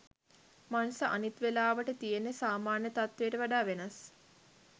මනස අනිත් වෙලාවට තියෙන සාමාන්‍ය තත්වයට වඩා වෙනස්